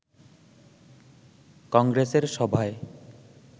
কংগ্রেসের সভায়